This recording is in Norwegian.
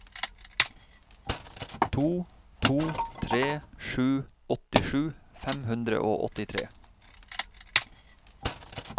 to to tre sju åttisju fem hundre og åttitre